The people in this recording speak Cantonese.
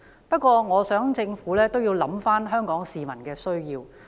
不過，我希望政府亦能考慮香港市民的需要。